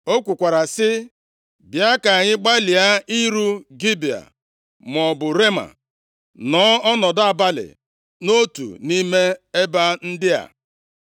O kwukwara sị, “Bịa ka anyị gbalịa iru Gibea maọbụ Rema, nọọ ọnọdụ abalị nʼotu nʼime ebe ndị a.”